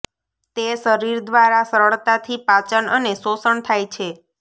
તે શરીર દ્વારા સરળતાથી પાચન અને શોષણ થાય છે